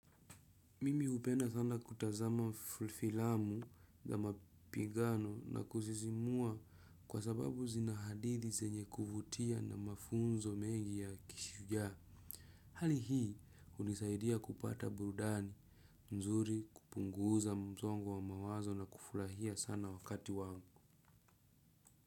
Mimi hupenda sana kutazama filamu ya mapigano na kusisimua kwa sababu zina hadithi zenye kuvutia na mafunzo mengi ya kishujaa. Hali hii hunisaidia kupata burudani nzuri, kupunguza msongo wa mawazo na kufurahia sana wakati wangu.